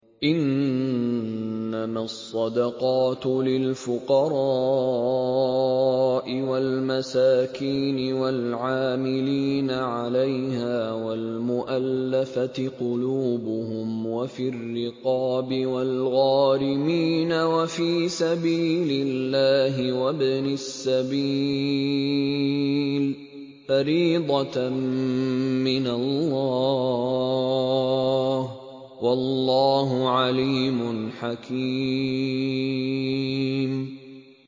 ۞ إِنَّمَا الصَّدَقَاتُ لِلْفُقَرَاءِ وَالْمَسَاكِينِ وَالْعَامِلِينَ عَلَيْهَا وَالْمُؤَلَّفَةِ قُلُوبُهُمْ وَفِي الرِّقَابِ وَالْغَارِمِينَ وَفِي سَبِيلِ اللَّهِ وَابْنِ السَّبِيلِ ۖ فَرِيضَةً مِّنَ اللَّهِ ۗ وَاللَّهُ عَلِيمٌ حَكِيمٌ